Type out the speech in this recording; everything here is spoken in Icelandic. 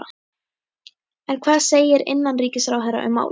En hvað segir innanríkisráðherra um málið?